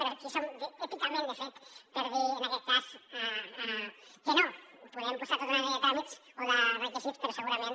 però qui som èticament de fet per dir en aquest cas que no podem posar tota una sèrie de tràmits o de requisits però segurament